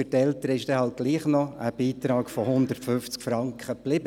Für die Eltern ist doch noch ein Beitrag von 150 Franken geblieben.